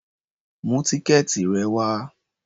Mú tíkẹ́ẹ̀tì rẹ wá!